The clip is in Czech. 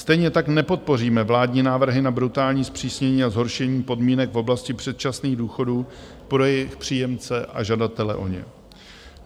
Stejně tak nepodpoříme vládní návrhy na brutální zpřísnění a zhoršení podmínek v oblasti předčasných důchodů pro jejich příjemce a žadatele o ně.